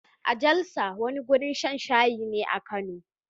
A Jalsa, wani wurin shan shayi ne a Kano